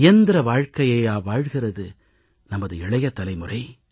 இயந்திர வாழ்கையையா வாழ்கிறது நமது இளைய தலைமுறை